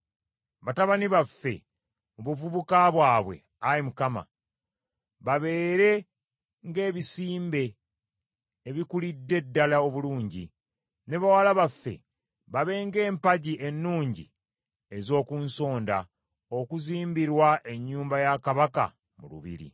Batabani baffe mu buvubuka bwabwe, Ayi Mukama , babeere ng’ebisimbe ebikulidde ddala obulungi, ne bawala baffe babe ng’empagi ennungi ez’oku nsonda okuzimbirwa ennyumba ya kabaka mu lubiri.